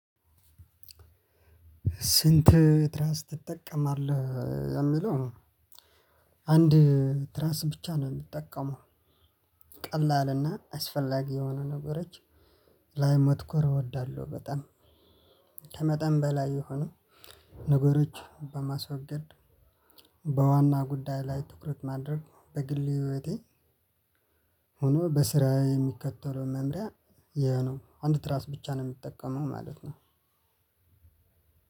ስንት ትራስ ትጠቀማለህ? የሚለው፣ አንድ ትራስ ብቻ ነው የምጠቀመው። ቀላልና አስፈላጊ የሆነ ነገሮች ላይ ማትኮር እወዳለሁ በጣም። ከመጠን በላይ የሆነ ነገሮች በማስወገድ በዋና ጉዳይ ላይ ትኩረት ማድረግ በግል ህይወቴ ሆኖ በስራ የሚከተለው መምሪያ ይሄ ነው። አንድ ትራስ ብቻ ነው የምጠቀመው ማለት ነው።